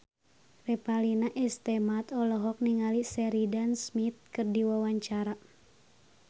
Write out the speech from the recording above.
Revalina S. Temat olohok ningali Sheridan Smith keur diwawancara